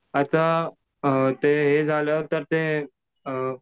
आता ते हे झाल्यावर तर ते अ